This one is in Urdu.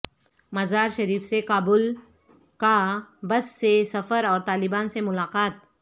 مزار شریف سے کابل کا بس سے سفر اور طالبان سے ملاقات